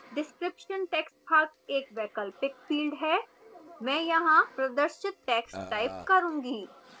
description text भाग एक वैकल्पिक field है मैं यहां प्रदर्शित टैक्स्ट टाइप करूंगी